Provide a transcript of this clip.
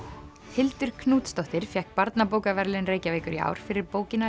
Hildur Knútsdóttir fékk barnabókaverðlaun Reykjavíkur í ár fyrir bókina